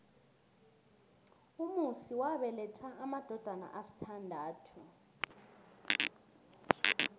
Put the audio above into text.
umusi wabeletha amadodana asithandathu